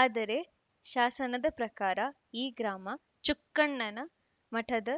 ಆದರೆ ಶಾಸನದ ಪ್ರಕಾರ ಈ ಗ್ರಾಮ ಚುಕ್ಕಣ್ಣನ ಮಠದ